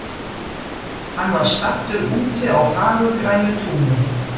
Hann var staddur úti á fagurgrænu túni.